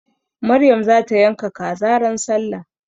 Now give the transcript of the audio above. Maryam za ta yanka kaza ran sallah.